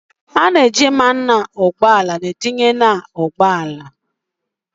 A na-eji mmanụ ụgbọala etinye n’ ụgbọala